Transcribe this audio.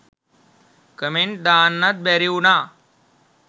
comment දාන්නත් බැරිවුනා